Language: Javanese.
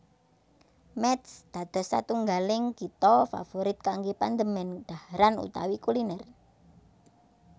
Métz dados satunggaling kitha favorit kanggé pandemen dhaharan utawi kulinér